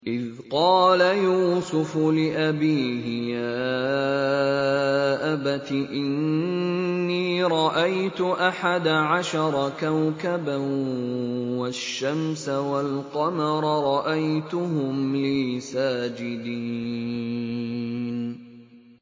إِذْ قَالَ يُوسُفُ لِأَبِيهِ يَا أَبَتِ إِنِّي رَأَيْتُ أَحَدَ عَشَرَ كَوْكَبًا وَالشَّمْسَ وَالْقَمَرَ رَأَيْتُهُمْ لِي سَاجِدِينَ